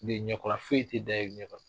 Nin ye ɲɛkɔla feyi te da, e ɲɛkɔlɔ